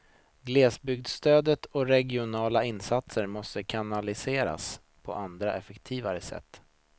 Glesbygdsstöd och regionala insatser måste kanaliseras på andra, effektivare sätt.